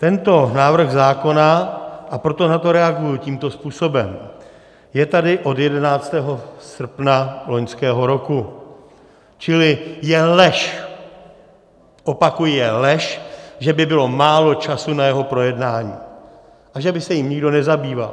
Tento návrh zákona, a proto na to reaguji tímto způsobem, je tady od 11. srpna loňského roku, čili je lež, opakuji, je lež, že by bylo málo času na jeho projednání a že by se jím nikdo nezabýval.